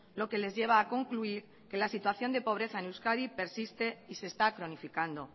lo que les lleva a concluir que la situación de pobreza en euskadi persiste y se está cronificando